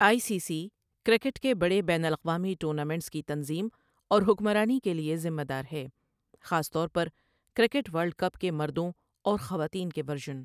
آئی C C cricket کے بڑے بین الاقوامی ٹورنامنٹس کی تنظیم اور حکمرانی کے لیے ذمہ دار ہے، خاص طور پر کرکٹ ورلڈ کپ کے مردوں اور خواتین کے ورژن۔